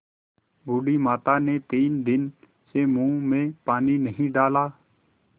बूढ़ी माता ने तीन दिन से मुँह में पानी नहीं डाला